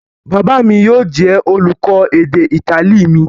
Bàbá mi yóò jẹ́ olùkọ́ èdè Ítálì mi.